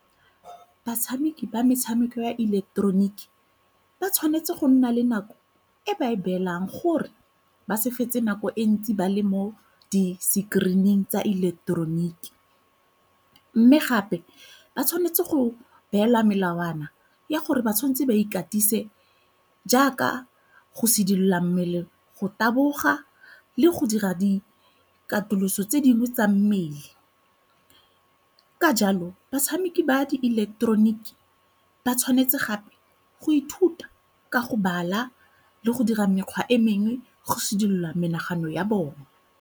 Batshameki ba metshameko ya ileketeroniki ba tshwanetse go nna le nako e ba e beelang gore ba se fetse nako e ntsi ba le mo di-screen-ing tsa ileketeroniki. Mme gape ba tshwanetse go beela melawana ya gore ba tshwanetse ba ikatise jaaka go sedila mmele, go taboga le go dira dikatiso tse dingwe tsa mmele. Ka jalo batshameki ba di ileketeroniki ba tshwanetse gape go ithuta ka go bala le go dira mekgwa e mengwe go sedila menagano ya bone.